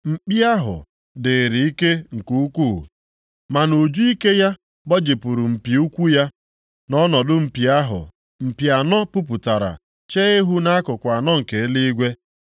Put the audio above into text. Mkpi ahụ, dịịrị ike nke ukwu, ma nʼuju ike ya a gbajipụrụ mpi ukwu ya. Nʼọnọdụ mpi ahụ mpi anọ puputara chee ihu nʼakụkụ anọ nke eluigwe,